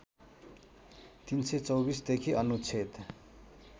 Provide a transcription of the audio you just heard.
३२४ देखि अनुच्छेद